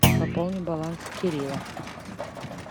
пополни баланс кирилла